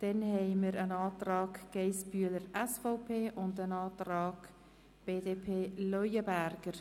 Es liegen zudem ein Antrag von Grossrätin Geissbühler-Strupler sowie ein Antrag der BDP vor.